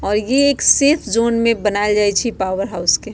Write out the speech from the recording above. और ये एक सेफ जोन में बनाल गेल छी पॉवर हाउस के।